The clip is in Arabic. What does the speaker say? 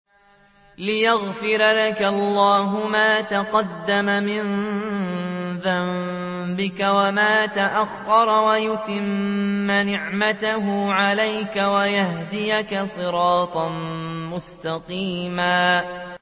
لِّيَغْفِرَ لَكَ اللَّهُ مَا تَقَدَّمَ مِن ذَنبِكَ وَمَا تَأَخَّرَ وَيُتِمَّ نِعْمَتَهُ عَلَيْكَ وَيَهْدِيَكَ صِرَاطًا مُّسْتَقِيمًا